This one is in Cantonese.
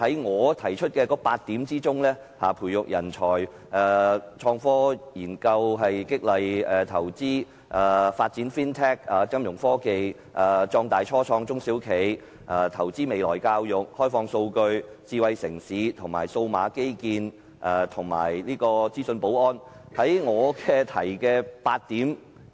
我提出8點，包括培育人才、創科研究、激勵投資、發展金融科技、壯大初創中小企、投資未來教育、開放數據、智慧城市、數碼基建及資訊保安。